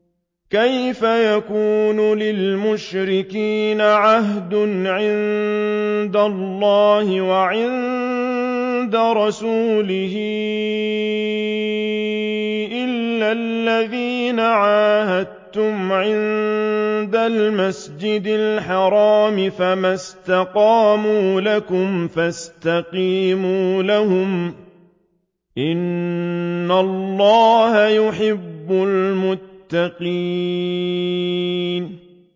كَيْفَ يَكُونُ لِلْمُشْرِكِينَ عَهْدٌ عِندَ اللَّهِ وَعِندَ رَسُولِهِ إِلَّا الَّذِينَ عَاهَدتُّمْ عِندَ الْمَسْجِدِ الْحَرَامِ ۖ فَمَا اسْتَقَامُوا لَكُمْ فَاسْتَقِيمُوا لَهُمْ ۚ إِنَّ اللَّهَ يُحِبُّ الْمُتَّقِينَ